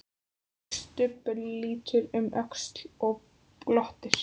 Stubbur lítur um öxl og glottir.